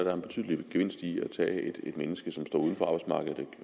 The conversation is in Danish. er en betydelig gevinst ved at tage et menneske som står uden for arbejdsmarkedet